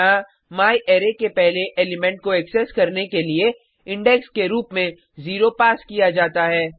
यहाँ म्यारे के पहले एलिमेंट को एक्सेस करने के लिए इंडेक्स के रुप में 0 पास किया जाता है